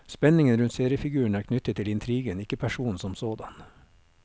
Spenningen rundt seriefiguren er knyttet til intrigen, ikke personen som sådan.